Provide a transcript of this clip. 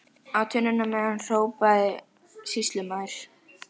Á tunnuna með hann, hrópaði sýslumaður.